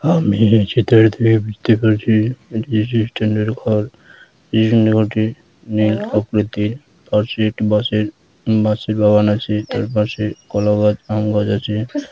আমি এই চিত্রে দেখতে পারছি এটি ঘর বাঁশের বাগান আছে তার পাশে কলা গাছ আম গাছ আছে।